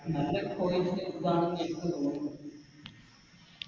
നല്ലേ ആണെന്നെനിക്ക് തോന്നുന്നു